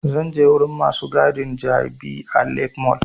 Zan je wurin masu gadin jabi lake mall